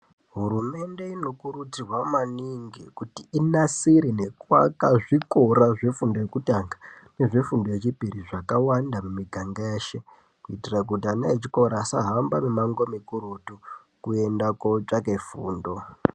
Hurumende inokurudzirwa maningi kuti inasire nekuaka zvikora zvefundo yekutanga nezvefundo yechipiri zvakawanda mumiganga yeshe kuitira kuti ana echikora asahamba mimango mukurutu kuenda kotsvake fundo.